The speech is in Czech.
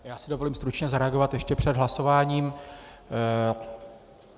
Já si dovolím stručně zareagovat ještě před hlasováním.